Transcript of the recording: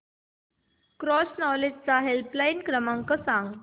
cross knowledge चा helpline क्रमांक सांगा